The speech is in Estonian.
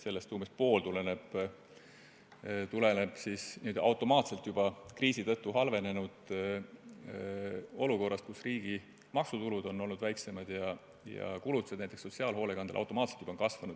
Sellest umbes pool tuleb automaatselt kriisi tõttu halvenenud olukorrast, kus riigi maksutulud on olnud väiksemad ja näiteks sotsiaalhoolekandele tehtud kulutused on kasvanud.